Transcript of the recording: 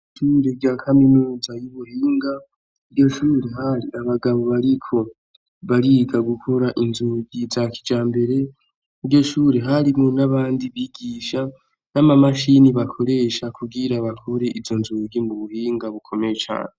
Ishure rya kaminuza y’ iBuhinga, iryoshure hari abagabo bariko bariga gukora inzugi za kijambere, iryoshure harimwo n’abandi bigisha n’amamashini bakoresha kugira bakure izo nzugi mu buhinga bukomeye cane.